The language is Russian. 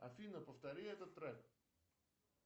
афина повтори этот трэк